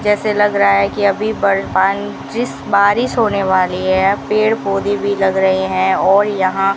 जैसे लग रहा है कि अभी बलवान जिस बारिश होने वाली है पेड़ पौधे भी लग रहे हैं और यहां --